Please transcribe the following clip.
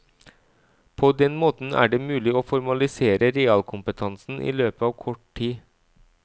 På den måten er det mulig å formalisere realkompetansen i løpet av kort tid.